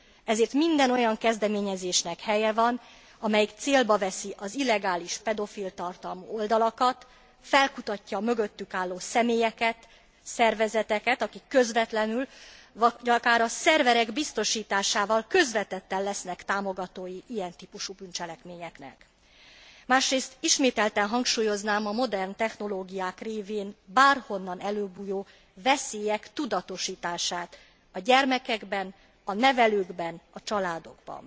Ezért minden olyan kezdeményezésnek helye van, amelyik célba veszi az illegális pedofil tartalmú oldalakat, felkutatja a mögöttük álló személyeket, szervezeteket, akik közvetlenül, vagy akár a szerverek biztosításával közvetetten lesznek támogatói ilyen típusú bűncselekményeknek. Másrészt ismételten hangsúlyoznám a modern technológiák révén bárhonnan előbújó veszélyek tudatosítását a gyermekekben, a nevelőkben, a családokban.